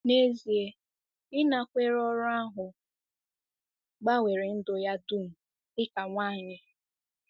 N'ezie, ịnakwere ọrụ ahụ gbanwere ndụ ya dum dị ka nwanyị.